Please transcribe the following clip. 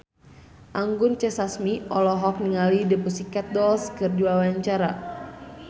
Anggun C. Sasmi olohok ningali The Pussycat Dolls keur diwawancara